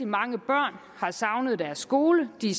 mange børn har savnet deres skole de